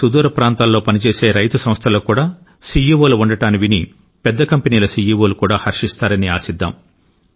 దేశంలోని సుదూర ప్రాంతాల్లో పని చేసే రైతు సంస్థలకు కూడా సిఇఒ లు ఉండడాన్ని విని పెద్ద కంపెనీల సిఇఒ లు కూడా హర్షిస్తారని ఆశిద్దాం